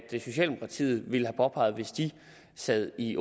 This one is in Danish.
socialdemokratiet ville have påpeget hvis de sad i